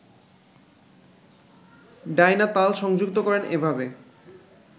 Dyna তাল সংযুক্ত করেন এভাবে